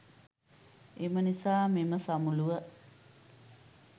එම නිසා මෙම සමුළුව